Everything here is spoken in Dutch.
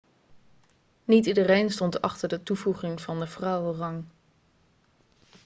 niet iedereen stond achter de toevoeging van de vrouwenrang